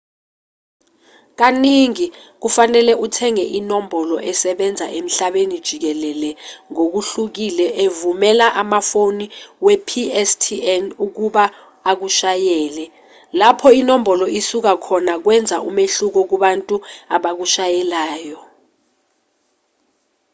kaningi kufanele uthenge inombolo esebenza emhlabeni jikelele ngokuhlukile evumela amafoni we-pstn ukuba akushayele lapho inombolo isuka khona kwenza umehluko kubantu abakushayelayo